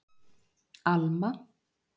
Alma